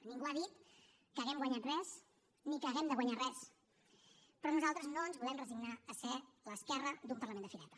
ningú ha dit que haguem guanyat res ni que haguem de guanyar res però nosaltres no ens volem resignar a ser l’esquerra d’un parlament de fireta